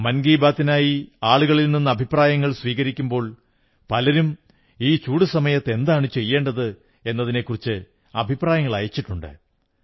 മൻ കീ ബാത്തിനായി ആളുകളിൽ നിന്ന് അഭിപ്രപ്രായങ്ങൾ സ്വീകരിക്കുമ്പോൾ പലരും ഈ ചൂടുസമയത്ത് എന്താണ് ചെയ്യേണ്ടത് എന്നതിനെക്കുറിച്ച് അഭിപ്രായങ്ങൾ അയച്ചിട്ടുണ്ട്